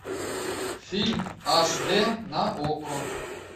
фильм аш дэ на окко